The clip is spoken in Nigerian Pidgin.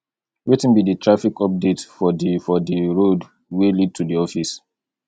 wetin be di traffic updates for di for di road wey lead to di office